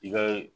I ka